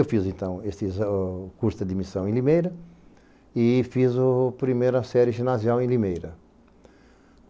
Eu fiz, então, esse ah o curso de admissão em Limeira e fiz a primeira série ginasial em Limeira.